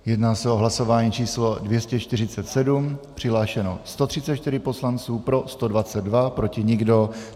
Jedná se o hlasování číslo 247, přihlášeno 134 poslanců, pro 122, proti nikdo.